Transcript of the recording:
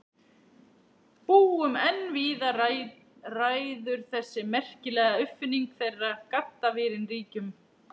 Búum en víða ræður þessi merkilega uppfinning þeirra, gaddavírinn, ríkjum.